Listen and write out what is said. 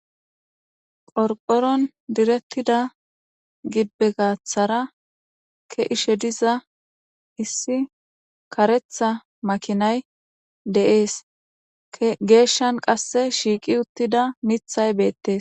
Qorqoron diretida gibe gathara ke'ishe diza issi karetha makinay de'es geshan qase shiqi utida mithay betes